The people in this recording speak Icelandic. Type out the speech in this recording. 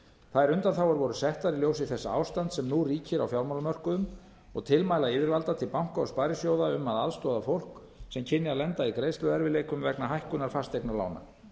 þær undanþágur voru settar í ljósi þessa ástands sem nú ríkir á fjármálamörkuðum og tilmæla yfirvalda til banka og sparisjóða um að aðstoða fólk sem kynni að lenda í greiðsluerfiðleikum vegna hækkunar fasteignalána